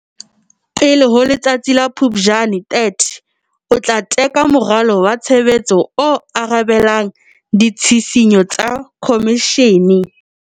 Pele ho letsatsi la 30 Phuptjane, o tla teka moralo wa tshebetso o arabelang ditshisinyo tsa Khomishene.